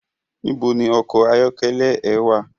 Nibó ni òkò àyòkèlè è wá?